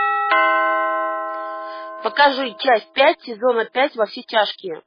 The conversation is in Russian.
покажи часть пять сезона пять во все тяжкие